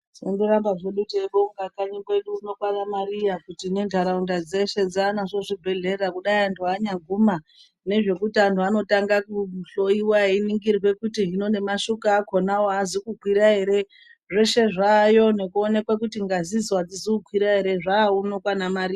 Tinondoramba zvedu teibonga kanyi kwedu uno kwana Mariya kuti nentaraunda dzeshe dzanazvo zvibhedhlera kudai antu anyaguma ngezvekuti anhu anotanga kuhloiwa einingirwe kuti hino nemashuka akonawo aazi kukwira ere zveshe zvaayo nekuonekwe kuti ngazidzo adzizo kukwirwa ere zvauno kwaMariya.